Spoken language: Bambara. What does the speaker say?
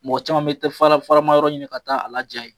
Mɔgɔ caman bɛ tɛ fara faraman yɔrɔ ɲini ka taa a laja yen.